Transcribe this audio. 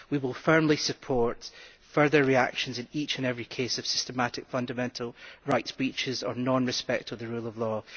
We will firmly support further reactions in each and every case of systematic fundamental rights breaches or non respect of the rule of law.